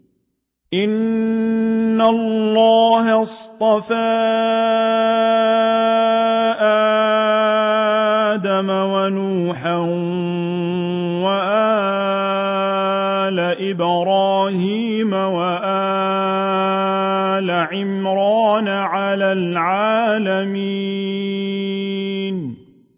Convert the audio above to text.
۞ إِنَّ اللَّهَ اصْطَفَىٰ آدَمَ وَنُوحًا وَآلَ إِبْرَاهِيمَ وَآلَ عِمْرَانَ عَلَى الْعَالَمِينَ